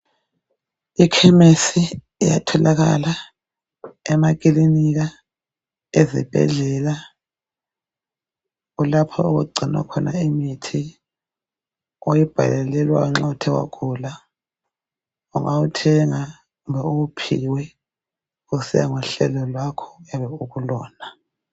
Ikhemisi iyatholakala emakilinika, ezibhedlela, kulapho okugcinwa khona imithi oyibhalelwa nxa uthe wagula, ungawuthenga kumbe uwuphiwe kusiya ngohlelo lwakho oyabe ukulona